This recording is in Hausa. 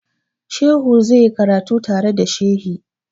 Shehu zai yi karatu tare da shehi.